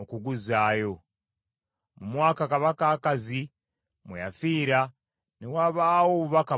Mu mwaka kabaka Akazi mwe yafiira ne wabaawo obubaka buno.